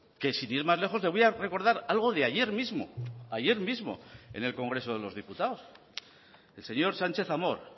que sin ir más lejos le voy a recordar algo de ayer mismo ayer mismo en el congreso de los diputados el señor sánchez amor